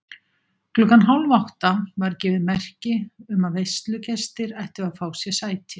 Klukkan hálfátta var gefið merki um að veislugestir ættu að fá sér sæti.